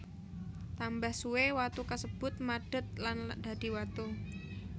Tambah suwe watu kasebut madet lan dadi watu